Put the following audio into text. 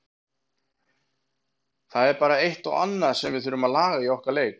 Það er bara eitt og annað sem við þurfum að laga í okkar leik.